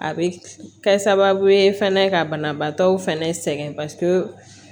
A bɛ kɛ sababu ye fɛnɛ ka banabaatɔw fɛnɛ sɛgɛn pasike